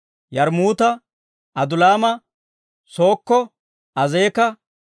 Yarmmuuta, Adulaama, Sookko, Azeek'a,